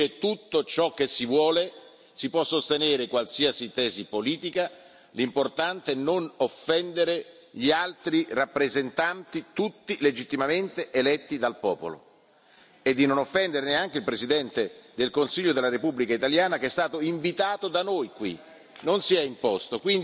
Si può dire tutto ciò che si vuole, si può sostenere qualsiasi tesi politica, ma l'importante è non offendere gli altri rappresentanti, tutti legittimamente eletti dal popolo, e di non offendere neanche il Presidente del Consiglio dei Ministri della Repubblica italiana che è stato invitato da noi qui, non si è imposto.